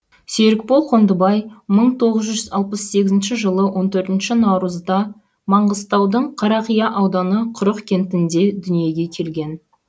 серікбол қондыбай мың тоғыз жүз алпыс сегізінші жылы он төртінші наурызда маңғыстаудың қарақия ауданы құрық кентінде дүниеге келген